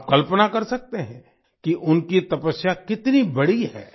आप कल्पना कर सकते हैं कि उनकी तपस्या कितनी बड़ी है